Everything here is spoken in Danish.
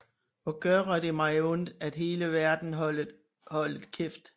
Hvor gøre det mig ondt at hele verden holdet kæft